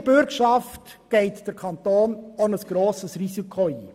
Mit der Bürgschaft geht der Kanton ein grosses Risiko ein.